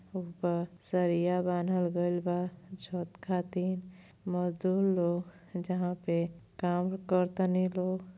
ऊपर सरिया बांधल गइल बा छठ खातिर। मजदूर लोग जहां पर काम करतनी लोग।